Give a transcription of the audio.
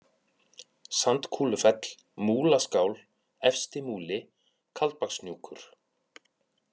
Sandkúlufell, Múlaskál, Efsti-Múli, Kaldbakshnjúkur